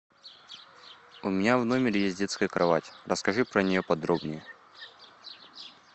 у меня в номере есть детская кровать расскажи про нее подробнее